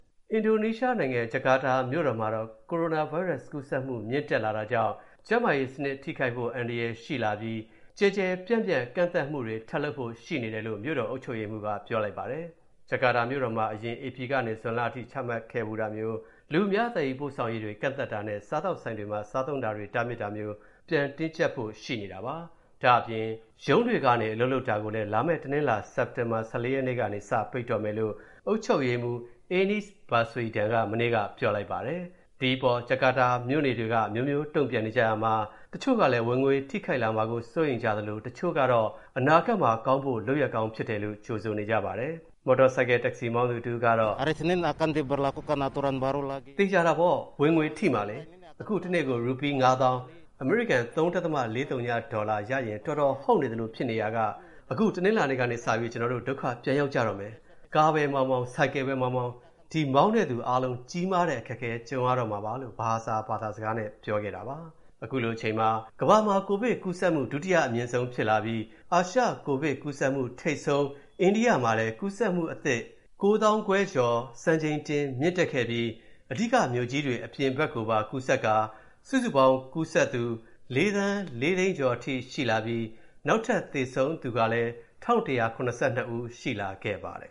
အင်ဒိုနီးရှားနိုင်ငံ ဂျကာတာမြို့တော်မှာ ကိုရိုနာဗိုင်းရပ်စ်ကူးစက်မှု မြင့်တာလာတာကြောင့် ကျန်းမာရေးစနစ်ထိခိုက်ဖို့ အန္တရာယ်ရှိနေတာမို့ ကျယ်ကျယ်ပြန့်ပြန့် ကန့်သတ်မူတွေထပ်လုပ်ဖို့ရှိနေတယ်လို့ မြို့တော်အုပ်ချုပ်ရေးမှူးက ပြောလိုက်ပါတယ်။ ဂျကာတာမြို့တော်မှာ အရင် ဧပြီကနေ ဇွန်လအထိ ချမှတ်ခဲ့ဖူးတာမျိုး လူအများသယ်ယူပို့ဆောင်ရေးတွေ ကန့်သတ်တာနဲ့ စားသောက်ဆိုင်တွေထဲ စားသုံးတာတွေ တားမြစ်တာမျိုး ပြန်တင်းကြပ်ဖို့ ရှိနေတာပါ။ ဒါ့အပြင် ရုံးတွေကနေ အလုပ်လုပ်တာကိုလည်း လာမယ့်တနင်္လာ စက်တင်ဘာ ၁၄ ရက်ကနေ စပိတ်ပင်တော့မယ်လို့ အုပ်ချုပ်ရေးမှူး Anies Baswedan က မနေ့က ပြောလိုက်ပါတယ်။ ဒါပေမဲ့ ဂျကာတာ မြို့နေတွေကတော့ အမျိုးမျိုးတုံ့ပြန်နေကြတာမှာ တချို့ကလည်း ဝင်ငွေထိခိုက်လာမှာကို စိုးရိမ်ကြသလို တချို့ကတော့ အနာဂတ်မှာကောင်းဖို့ လုပ်ရပ်ကောင်းဖြစ်တယ်လို့ ကြိုဆိုကြပါတယ်။ မော်တော်ဆိုင်ကယ် Taxi မောင်းသူတဦး က - "သေချာတာပေါ့... ဝင်ငွေထိမှာလေ။ အခု တနေ့ကို ရူပီး ၅၀,၀၀၀ (အမေရိကန် ၃.၄၀ ဒေါ်လာ) ရရင် တော်တော်ဟုတ်နေသလိုဖြစ်နေတာ။ အခုတနင်္လာကစပြီး ကျနော်တို့ ဒုက္ခပြန်ရောက်ဦးမယ်လေ။ ကားပဲမောင်းမောင်း၊ ဆိုင်ကယ်ပဲမောင်းမောင်း ဒီမောင်းသူအားလုံး ကြီးမားတဲ့ အခက်ကြုံရတော့မှာပါ။" လို့ Bahahsa ဘာသာစကားနဲ့ ပြောပါတယ်။ ခုလိုချိန်မှာ ကမ္ဘာမှာ ကိုဗစ်ကူးစက်မူ ဒုတိယအမြင့်ဆုံးဖြစ်လာပြီး အာရှကိုဗစ်ကူးစက်မှုထိပ်ဆုံး အိန္ဒိယမှာလည်း ကူးစက်မူအသစ် ၉၅,၇၃၅ ဦး စံချိန်တင် ထပ်မြင့်တက်ခဲ့ပြီး အဓိကမြို့ကြီးတွေအပြင်ဘက်ကိုပါ ကူးစက်ကာ စုစုပေါင်းကူးစက်သူ ၄,၄၆၅,၈၆၃ ဦးအထိရှိလာပြီး နောက်ထပ် သေဆုံးသူကလည်း ၁,၁၇၂ ဦး ရှိခဲ့ပါတယ်